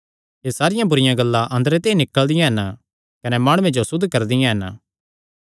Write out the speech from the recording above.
एह़ सारियां बुरिआं गल्लां अंदरे ते ई निकल़दियां हन कने माणुये जो असुद्ध करदियां हन